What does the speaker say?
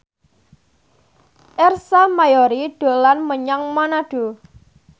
Ersa Mayori dolan menyang Manado